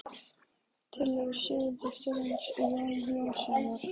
Tillögur Sigurðar Þórarinssonar og Jóns Jónssonar